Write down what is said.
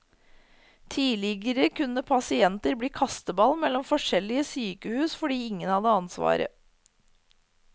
Tidligere kunne pasienter bli kasteball mellom forskjellige sykehus fordi ingen hadde ansvaret.